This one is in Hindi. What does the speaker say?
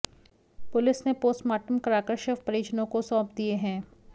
पुलिस ने पोस्टमार्टम कराकर शव परिजनों को सौंप दिए हैं